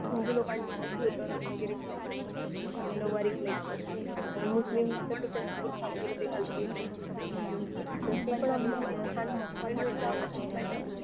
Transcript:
हिंदू लोकांनी मग धोतर वगैरे घालायचं नवरी घालायची मुस्लिम तसं त्यांचं मूर्ख वगैरे घालतील तर ते पण आम्ही असं छान दाखवायचं